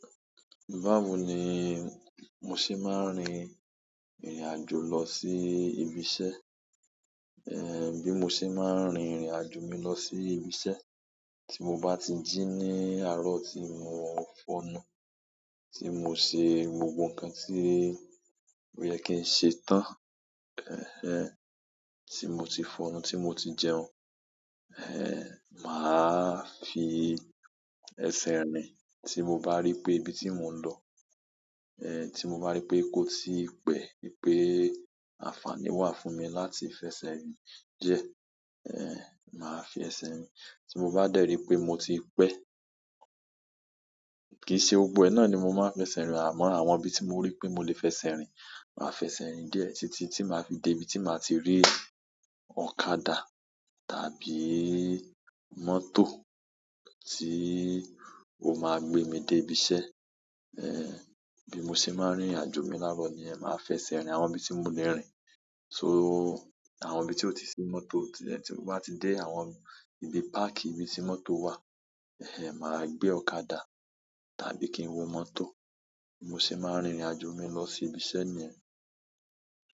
Báwo ni mo ṣe máa ń rin ìrìn àjò lọ sí ibi iṣẹ́, bí mo ṣe máa ń rin ìrìn àjò mi lọ sí ibi iṣẹ́. Tí mo bá ti jí ní àárọ̀ tí mo fọnu, tí mo ṣe gbogbo nǹkan tí ó yẹ kí ń ṣe tán, tí mo ti fọnú, tí mo ti jẹun, màá fi ẹsẹ̀ rìn. Tí mo bá rí pé ibi tí mò ń lọ, tí mo bá rí pé kò tíi pẹ́, wipé àǹfààní wà fún mi láti fẹsẹ̀ rìn díẹ̀, màá fi ẹsẹ̀ rìn. Tí mo bá dẹ̀rí pé mo ti pẹ́, kìí ṣe gbogbó e náà ni mo máa fẹsẹ̀ rìn, àmọ́ àwọn ibi tí mo rí pé mo lè fẹsẹ̀ rìn, màá fẹsẹ̀ rìn díẹ̀ títí tí màá fi dé ibi tí màá ti rí ọ̀kadà tàbí mọ́tò tí ó máa gbé mi dé ibi iṣẹ́. Bí mo ṣe máa ń rin ìrìn àjò mi lárọ̀ niyẹn máa fẹsẹ̀ rìn àwọn ibi tí mo le rìn. So àwọn ibi tí ó ti sí mọ́tò, tí mo bá ti dé àwọn ibi park ibi tí mọ́tò wà, màá gbé ọ̀kadà tàbí kí n wo mọ́tò. Bi mo se máa ń rin ìrìn àjò mi lọ sí ibi iṣẹ́ niyẹn.